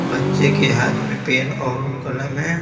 बच्चे के हाथ में पेन और कलम है।